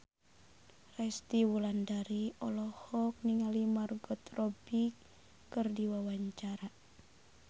Resty Wulandari olohok ningali Margot Robbie keur diwawancara